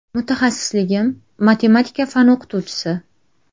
Mutaxassisligim matematika fani o‘qituvchisi.